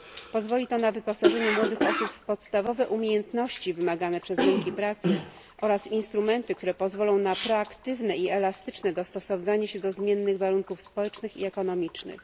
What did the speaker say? Pozwoli to na wyposażenie młodych osób w podstawowe umiejętności wymagane przez rynki pracy oraz instrumenty, które pozwolą na proaktywne i elastyczne dostosowywanie się do zmiennych warunków społecznych i ekonomicznych.